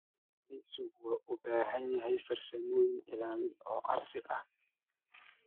Kalluumeysigu wuxuu u baahan yahay farsamooyin ilaalin oo casri ah.